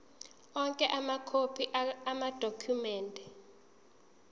onke amakhophi amadokhumende